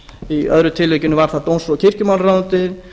í öðru tilvikinu var það dóms og kirkjumálaráðuneytið